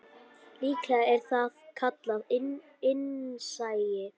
Líklega er það kallað innsæi.